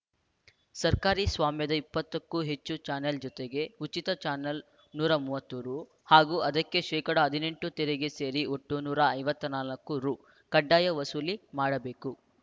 ಸರ್ಕಾರಿ ಸ್ವಾಮ್ಯದ ಇಪ್ಪತ್ತು ಕ್ಕೂ ಹೆಚ್ಚು ಚಾನಲ್‌ ಜೊತೆಗೆ ಉಚಿತ ಚಾನಲ್‌ಗೆ ನೂರ ಮೂವತ್ತು ರು ಹಾಗೂ ಅದಕ್ಕೆ ಶೇಕಡಾ ಹದಿನೆಂಟು ತೆರಿಗೆ ಸೇರಿ ಒಟ್ಟು ನೂರ ಐವತ್ತ್ ನಾಲ್ಕು ರು ಕಡ್ಡಾಯ ವಸೂಲಿ ಮಾಡಬೇಕು